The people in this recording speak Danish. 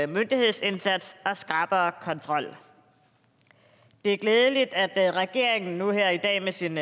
myndighedsindsats og skrappere kontrol det er glædeligt at regeringen nu her i dag ved sin